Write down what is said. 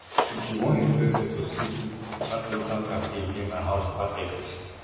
if you wan enjoy pepper soup that local cafe near my house perfect